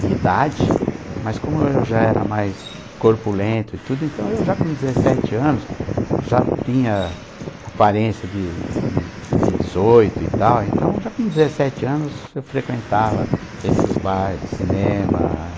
de idade, sim, mas como eu já era mais corpulento e tudo, então eu já com dezessete anos já tinha aparência de de de dezoito e tal, então já com dezessete anos eu frequentava esses bares, cinema.